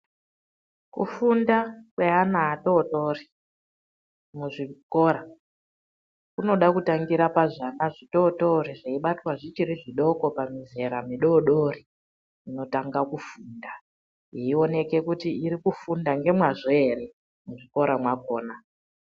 Kufunda kweana vadoodori muzvikora kunoda kutangira pazvana zvitootori zveibatwa zvichiri zvidoko pamizera midoodori, inotanga kufunda. Eioneke kuti iri kufunda nemazvo here muzvikora mwakona.